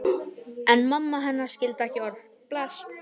En mamma hennar skildi ekki orðið bless.